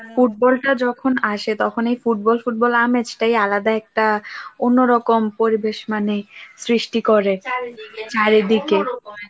ফুটবলটা যখন আসে তখনই ফুটবল ফুটবল আমেজ টাই আলাদা একটা, অন্যরকম পরিবেশ মানে সৃষ্টি করে চারিদিকে ওনোরকম